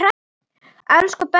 Elsku Bessý amma.